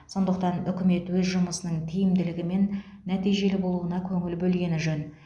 сондықтан үкімет өз жұмысының тиімділігі мен нәтижелі болуына көңіл бөлгені жөн